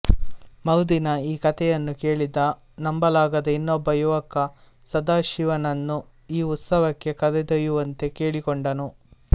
ಮರುದಿನ ಈ ಕಥೆಯನ್ನು ಕೇಳಿದ ನಂಬಲಾಗದ ಇನ್ನೊಬ್ಬ ಯುವಕ ಸದಾಶಿವನನ್ನು ಈ ಉತ್ಸವಕ್ಕೆ ಕರೆದೊಯ್ಯುವಂತೆ ಕೇಳಿಕೊಂಡನು